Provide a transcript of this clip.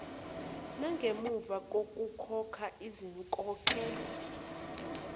nangemva kokukhokha izinkokhelo